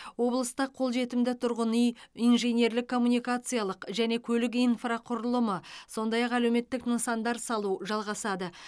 облыста қолжетімді тұрғын үй инженерлік коммуникациялық және көлік инфрақұрылымы сондай ақ әлеуметтік нысандар салу жалғасады